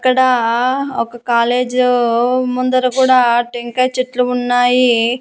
ఇక్కడా ఒక కాలేజు ముందర కూడా టెంకాయ చెట్లు ఉన్నాయి.